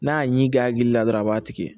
N'a ɲi ge a hakili la dɔrɔn a b'a tigɛ